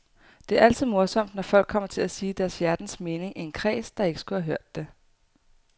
Det er altid morsomt, når folk kommer til at sige deres hjertens mening i en kreds, der ikke skulle have hørt det.